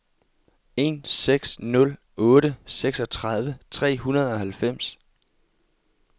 en seks nul otte seksogtredive tre hundrede og halvfems